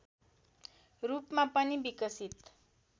रूपमा पनि विकसित